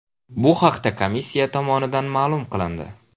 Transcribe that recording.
Bu haqda komissiya tomonidan ma’lum qilindi .